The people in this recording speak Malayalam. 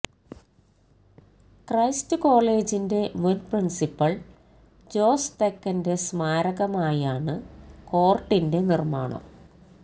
ക്രൈസ്റ്റ് കോളേജിന്റെ മുൻ പ്രിൻസിപ്പൽ ജോസ് തെക്കന്റെ സ്മാരകമായാണ് കോർട്ടിന്റെ നിർമാണം